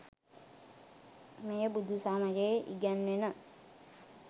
මෙය බුදුසමයේ ඉගැන්වෙන